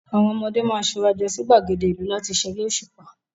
Àwọn ọmọdé máa ṣurajọ sí gbàgéde ìlú láti ṣeré òṣùpá.